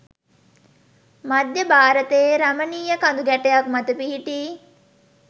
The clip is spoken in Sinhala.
මධ්‍ය භාරතයේ රමණීය කඳුගැටයක් මත පිහිටි